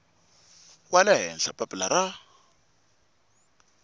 wa le henhla papila ra